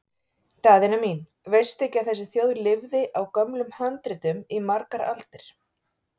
Daðína mín, veistu ekki að þessi þjóð lifði á gömlum handritum í margar aldir?